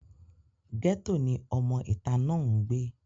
gẹ́tò ni ọmọ ìta náà ń gbé